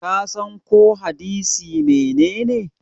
kasan ko hadisi menene?